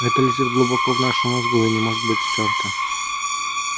это лежит глубоко в нашем мозгу и не может быть стёрто